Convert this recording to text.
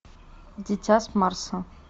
дитя с марса